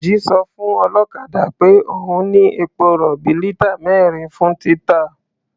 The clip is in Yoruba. Dèjì sọ fún ọlọ́kadà peh òun ní epo-rọ̀bì lítà mẹ́rin fún títà.